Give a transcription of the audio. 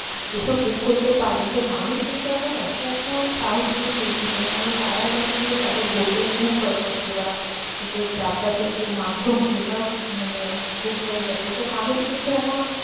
এইসব book করতে পারি, তো মানুষ কিন্তু এখন একা একাও সাহস নিয়ে বেরিয়ে যায়। কারণ, তারা জানে যে তাদের hotel book হয়ে গেছে বা যে যাতায়াতের যে মাধ্যম সেটাও মানে book হয়ে গেছে। তো মানুষ কিন্তু এখন